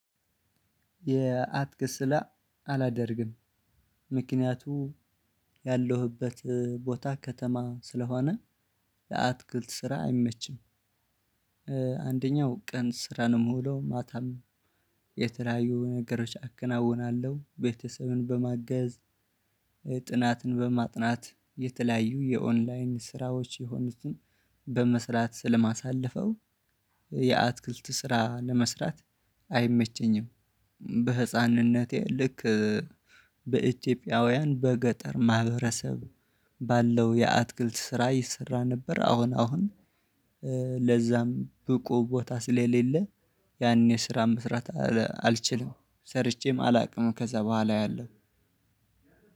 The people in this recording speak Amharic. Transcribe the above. የአትክልት ስራ አላደርግም። ምክንያቱ ያለሁበት ቦታ ከተማ ስለሆነ ለአትክልት ስራ አይመችም። አንደኛው ቀን ስራ ነው ምውለው ሆኖ ማታም የተለያዩ ነገሮች አከናውናለሁ ቤተሰብን በማገዝ። ጥናትን በማጥናት የተለያዩ የኦንላይን ስራዎች የሆኑትን በመስራት ስለማሳለፈው። የአትክልት ስራ ለመስራት አይመቸኝም። በህፃንነቴ ልክ በኢትዮጵያውያን በገጠር ማህበረሰብ ባለው የአትክልት ስራ ይሰራ ነበር። አሁን አሁን ለዛም ብቁ ቦታ ስለሌለ። ያኔ ስራ መስራት አልችልም ሰርቼም አላውቅም ከዛ በኋላ ያለሁ።